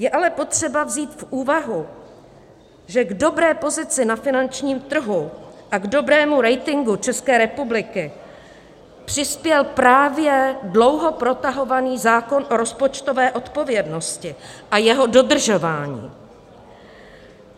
Je ale potřeba vzít v úvahu, že k dobré pozici na finančním trhu a k dobrému ratingu České republiky přispěl právě dlouho protahovaný zákon o rozpočtové odpovědnosti a jeho dodržování.